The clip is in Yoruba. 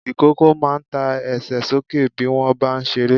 Ìkókó máa ń ta Ẹsẹ̀ sókè bí wọ́n bá ń ṣeré.